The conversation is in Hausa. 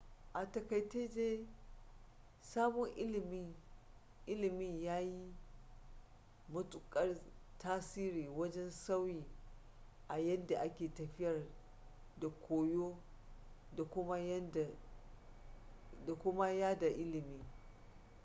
a takaice dai sabon ilimin ya yi matukar tasiri wajen sauyi a yadda ake tafiyar da koyo da kuma yada ilimi